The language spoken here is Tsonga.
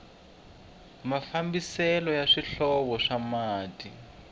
mafambiselo ya swihlovo swa mati